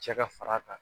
Cɛ ka far'a kan